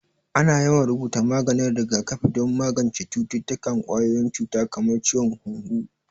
Ana yawan rubuta maganin rigakafi don magance cututtukan ƙwayoyin cuta kamar ciwon hunhu